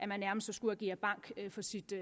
man nærmest skulle agere bank for sit